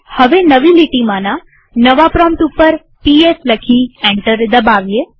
હવે નવી લીટીમાંના નવા પ્રોમ્પ્ટ ઉપર ps લખી એન્ટર દબાવીએ